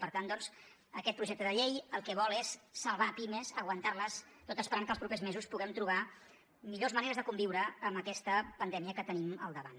per tant doncs aquest projecte de llei el que vol és salvar pimes aguantar les tot esperant que els propers mesos puguem trobar millors maneres de conviure amb aquesta pandèmia que tenim al davant